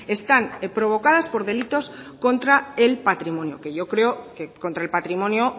están provocadas por delitos contra el patrimonio que yo creo que contra el patrimonio